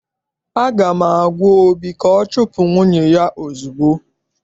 Aga m agwa obi ka ọ chupu nwunye ya ozugbo!